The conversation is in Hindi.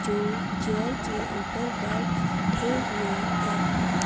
जो चेयर के ऊपर बैठे हुए हैं।